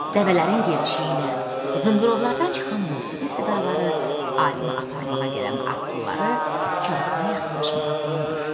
Dəvələrin yerişiyi ilə zınqırovlardan çıxan musiqi sədaları alimi aparmağa gələn atlıları karvana yaxınlaşmağa qoymur.